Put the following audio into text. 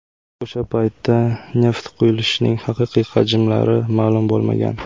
O‘sha paytda neft quyilishining haqiqiy hajmlari ma’lum bo‘lmagan.